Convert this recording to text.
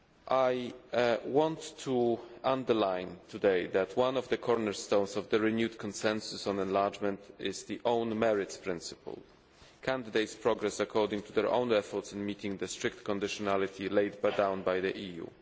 I want to underline today that one of the cornerstones of the renewed consensus on enlargement is the own merits' principle candidates progress according to their own efforts in meeting the strict conditionality laid down by the EU.